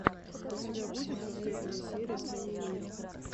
у тебя будет последняя серия сени миро